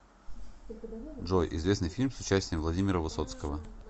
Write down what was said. джой известный фильм с участием владимира высоцкого